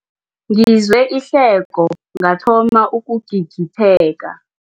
Ngizwe ihleko ngathoma ukugigitheka.